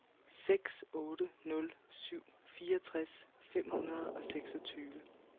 seks otte nul syv fireogtres fem hundrede og seksogtyve